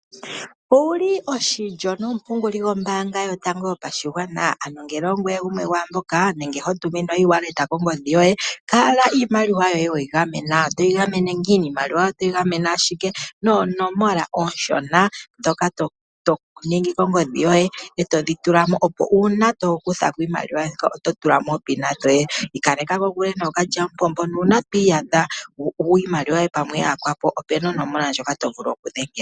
Ouli oshilyo nomupunguli gomombaanga yotango yopashigwana ano ngele ongoye gumwe gwomwaamboka nenge ho tominwa o e-wallet kongodhi yoye kala iimaliwa yoye weyi gamena toyi gamene noonomola dhontumba nenge iimaliwa otoyi gamene owala noonomola ooshona to ningi kongodhi yoye opo wu ikaleke kokule nookalya mupombo.